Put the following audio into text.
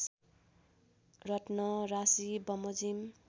रत्न राशिबमोजिम